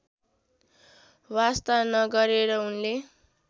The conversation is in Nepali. वास्ता नगरेर उनले